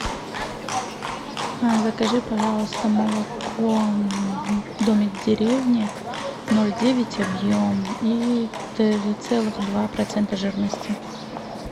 закажи пожалуйста молоко домик в деревне ноль девять объем и три целых два процента жирности